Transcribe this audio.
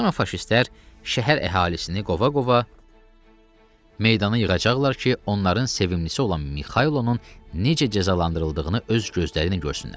Sonra faşistlər şəhər əhalisini qova-qova meydana yığacaqlar ki, onların sevimlisi olan Mixaylovun necə cəzalandırıldığını öz gözləriylə görsünlər.